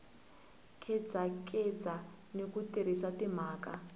khedzakheza ni ku tirhisa timhaka